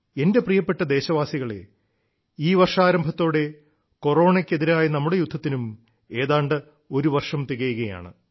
എന്റെ പ്രിയപ്പെട്ട ദേശവാസികളേ ഈ വർഷാരംഭത്തോടെ കൊറോണയ്ക്കെതിരായ നമ്മുടെ യുദ്ധത്തിനും ഏതാണ്ട് ഒരുവർഷം തികയുകയാണ്